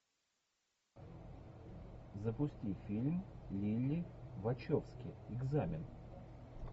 запусти фильм лилли вачовски экзамен